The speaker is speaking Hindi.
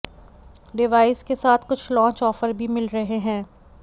डिवाइस के साथ कुछ लॉन्च ऑफर भी मिल रहे हैं